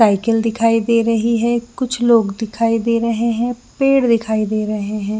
Cycle दिखाई दे रही है कुछ लोग दिखाई दे रहे है पेड़ दिखाई दे रहे है।